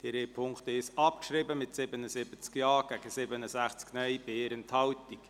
Sie haben Ziffer 1 abgeschrieben mit 77 Ja- gegen 67 Nein-Stimmen bei 1 Enthaltung.